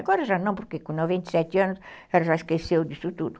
Agora já não, porque com noventa e sete anos, ela já esqueceu disso tudo.